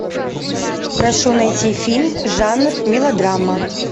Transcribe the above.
прошу найти фильм жанр мелодрама